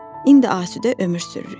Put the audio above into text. İndi asudə ömür sürürük.